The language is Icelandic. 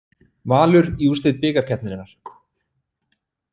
Valur í úrslit bikarkeppninnar